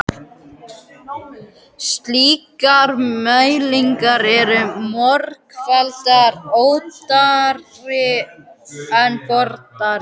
Slíkar mælingar eru margfalt ódýrari en boranir.